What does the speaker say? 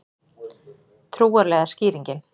Trúarlega skýringin